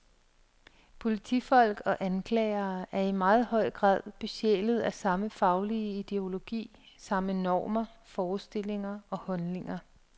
Politifolk og anklagere er i meget høj grad besjælet af samme faglige ideologi, samme normer, forestillinger og holdninger.